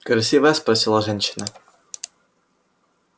красивая спросила женщина